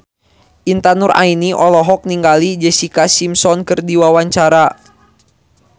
Intan Nuraini olohok ningali Jessica Simpson keur diwawancara